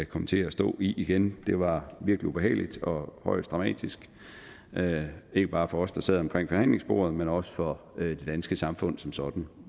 komme til at stå igen det var virkelig ubehageligt og højst dramatisk ikke bare for os der sad omkring forhandlingsbordet men også for det danske samfund som sådan